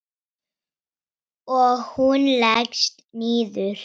Og hún leggst niður.